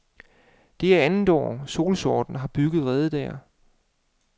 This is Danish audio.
Det er andet år, solsortene har bygget rede der.